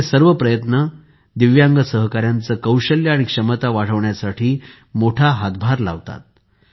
असे सर्व प्रयत्न दिव्यांग सहकाऱ्यांचे कौशल्य आणि क्षमता वाढवण्यास मोठा हातभार लावतात